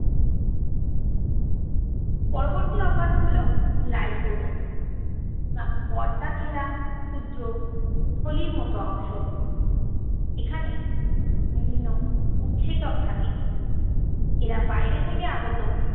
পরবর্তী অঙ্গাণু হলো lysosome পর্দা ঘেরা ক্ষুদ্র থলির মতো অংশ। এখানে বিভিন্ন উৎসেচক থাকে। এরা বাইরে থেকে আগত